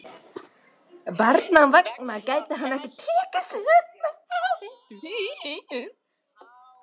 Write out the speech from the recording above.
Barnanna vegna gæti hann ekki tekið sig upp um hávetur.